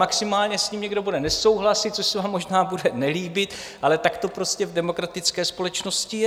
Maximálně s ním někdo bude nesouhlasit, což se vám možná bude nelíbit, ale tak to prostě v demokratické společnosti je.